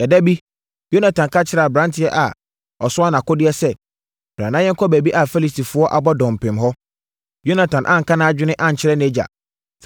Ɛda bi, Yonatan ka kyerɛɛ aberanteɛ a ɔsoa nʼakodeɛ sɛ, “Bra na yɛnkɔ baabi a Filistifoɔ abɔ dɔmpem hɔ.” Yonatan anka nʼadwene ankyerɛ nʼagya.